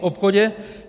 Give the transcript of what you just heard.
V obchodě?